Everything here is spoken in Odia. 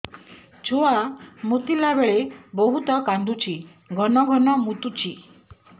ଛୁଆ ମୁତିଲା ବେଳେ ବହୁତ କାନ୍ଦୁଛି ଘନ ଘନ ମୁତୁଛି